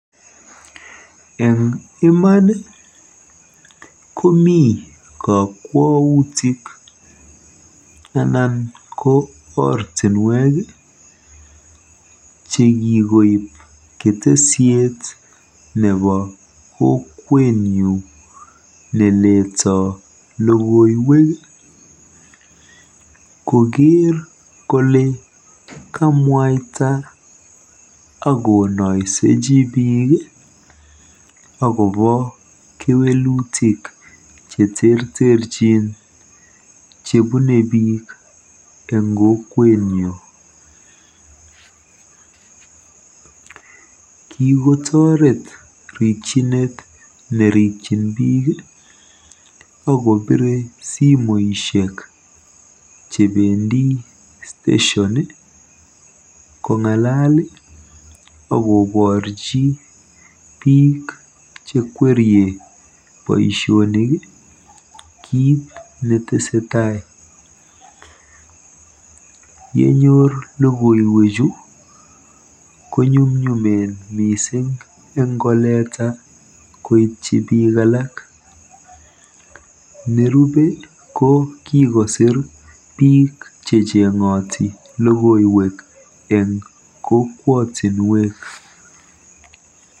En iman komi kokwoutik anan ko ortinwek ii chekikoib keteshet nebo kokwenyun neleto lokoiwek ii koker kole kamwaita ak konoiseji bik ii akobo kewelutik cheterterjin chebune bik en kokwenyu kikotoret rikjinet nerikjin bik ok kobire simoishek chebendi station kongalal ii ok koborji bik chekwerie boisionik kit netesee taai yenyor lokoiwechu konyumyumen missing' ingoleta koityi bik alak, nerube kokikosir bik chechengoti lokoiwek en kokwotinwek.